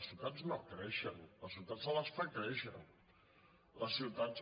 les ciutats no creixen a les ciu·tats se les fa créixer les ciutats